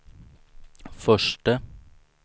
förste